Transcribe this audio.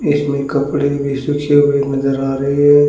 इसमें कपड़े नजर आ रही है।